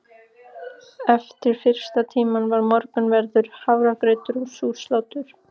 Eftir fyrsta tíma var morgunverður, hafragrautur og súrt slátur.